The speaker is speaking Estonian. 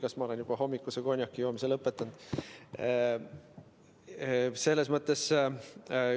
Kas ma olen hommikuse konjakijoomise juba lõpetanud?